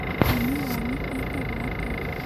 Mami wanyu etagwo atĩa